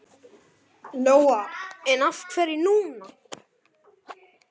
Lóa: En af hverju núna?